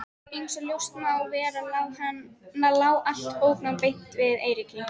Einsog ljóst má vera lá allt bóknám beint við Eiríki.